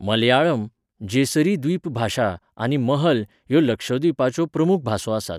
मलयाळम, जेसरी द्वीप भाशा आनी महल ह्यो लक्षद्वीपाच्यो प्रमूख भासो आसात.